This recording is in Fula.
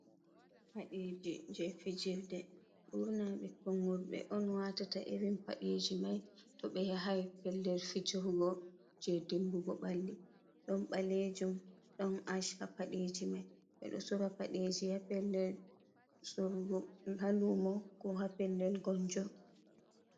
"Paɗe ji" je fijirde ɓurna ɓikkon worɓe on watata irin paɗeji mai to ɓe yahai pellel fijirugo je dimbugo ɓalli ɗon ɓalejum ɗon ash ha paɗeji mai bedo sora paɗeji ha pellel sorugo ha lumo ko ha pellel gonjo.